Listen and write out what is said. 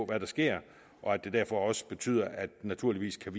hvad der sker og at det derfor også betyder at vi naturligvis